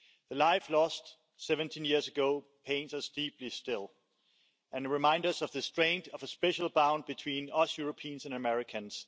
The life lost 17 years ago pains us deeply still and reminds us of the strength of a special bond between us Europeans and Americans.